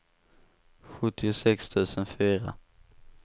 sjuttiosex tusen fyra